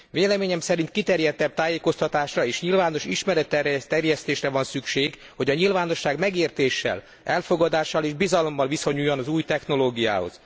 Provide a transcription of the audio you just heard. Véleményem szerint kiterjedtebb tájékoztatásra és nyilvános ismeretterjesztésre van szükség, hogy a nyilvánosság megértéssel, elfogadással és bizalommal viszonyuljon az új technológiához.